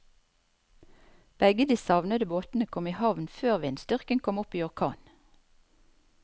Begge de savnede båtene kom i havn før vindstyrken kom opp i orkan.